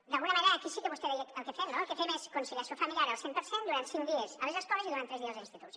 d’alguna manera aquí sí que vostè deia el que fem no el que fem és conciliació familiar al cent per cent durant cinc dies a les escoles i durant tres dies als instituts